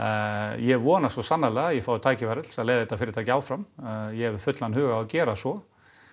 ég vona svo sannarlega að ég fái tækifæri til þess að leiða þetta fyrirtæki áfram ég hef fullan hug á að gera svo